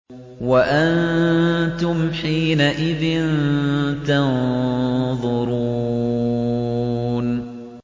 وَأَنتُمْ حِينَئِذٍ تَنظُرُونَ